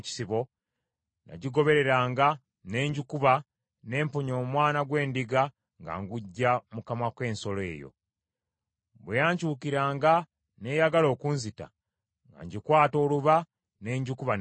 nagigobereranga, ne ngikuba, ne mponya omwana gw’endiga nga nguggya mu kamwa k’ensolo eyo. Bwe yankyukiranga n’eyagala okunzita, nga ngikwata oluba ne ngikuba ne ngitta.